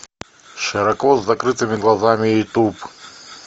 широко с закрытыми глазами ютуб